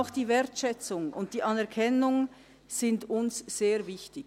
Auch Wertschätzung und Anerkennung sind uns sehr wichtig.